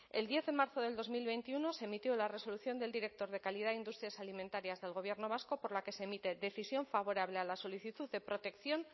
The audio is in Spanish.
el diez de marzo del dos mil veintiuno se emitió la resolución del director de calidad e industrias alimentarias del gobierno vasco por la que se emite decisión favorable a la solicitud de protección